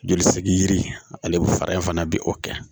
Joli sigi yiri ani fara in fana bɛ o kɛ